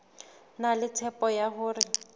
na le tshepo ya hore